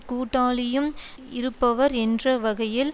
கூட்டாளியும் இருப்பவர் என்ற வகையில்